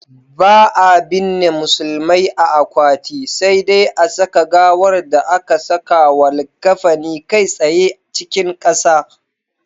Ba'a binne musulmai a akwati, sai dai a saka gawar da aka sakawa likkafani kai tsaye cikin ƙasa.